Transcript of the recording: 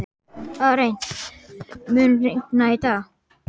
Arent, mun rigna í dag?